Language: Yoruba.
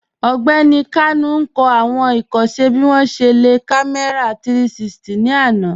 Ọgbẹni Kanu n kọ awọn ikọṣẹ bi wọn ṣe le lo kàmẹ̀rà 360 ni àná.